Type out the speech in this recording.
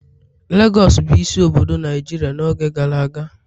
Legọs bụ isi obodo Naijiria n'oge gara aga